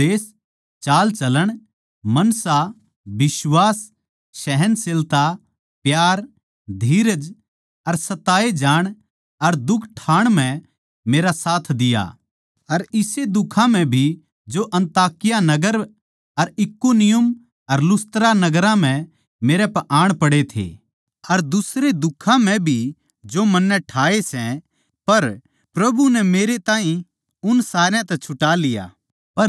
पर तन्नै उपदेश चालचलण मनसा बिश्वास सहनशीलता प्यार धीरज अर सताए जाण अर दुख ठाण म्ह मेरा साथ दिया अर इसे दुखां म्ह भी जो अन्ताकिया नगर अर इकुनियुम अर लुस्त्रा नगरां म्ह मेरै पै आण पड़े थे अर दुसरे दुखां म्ह भी जो मन्नै ठाए सै पर प्रभु नै मेरै ताहीं उस सारया तै छुटा लिया